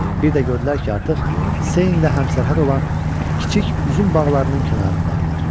Bir də gördülər ki, artıq Seine ilə həmsərhəd olan kiçik üzüm bağlarının kənarındadırlar.